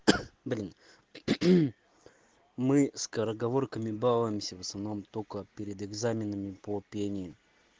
кх блин мы скороговорками балуемся в основном только перед экзаменами по пению